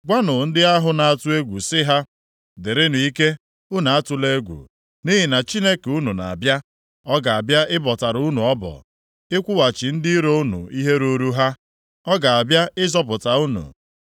Gwanụ ndị ahụ na-atụ egwu sị ha, “Dịrịnụ ike, unu atụla egwu, nʼihi na Chineke unu na-abịa. Ọ ga-abịa ịbọtara unu ọbọ, ịkwụghachi ndị iro unu ihe ruuru ha. Ọ ga-abịa ịzọpụta unu.”